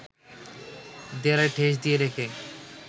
দেয়ালে ঠেস দিয়ে রেখে